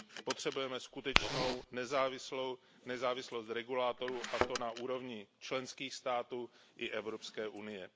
Potřebujeme skutečnou nezávislost regulátorů, a to na úrovni členských států i Evropské unie.